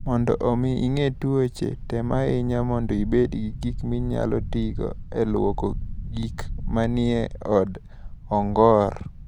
Mondo omi igeng' tuoche, tem ahinya mondo ibed gi gik minyalo tigo e lwoko gik manie od ong'or.